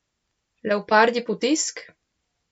Leopardji potisk?